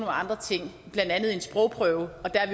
andre ting blandt andet en sprogprøve og der er